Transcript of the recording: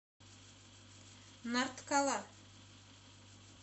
нарткала